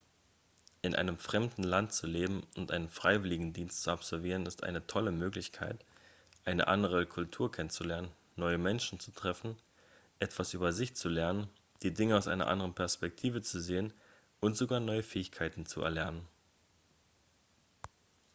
in einem fremden land zu leben und einen freiwilligendienst zu absolvieren ist eine tolle möglichkeit eine andere kultur kennenzulernen neue menschen zu treffen etwas über sich selbst zu lernen die dinge aus einer anderen perspektive zu sehen und sogar neue fähigkeiten zu erlernen